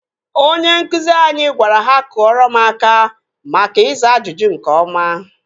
Onye nkụzi anyị gwara ha kụọrọ m aka maka ịza ajụjụ nke ọma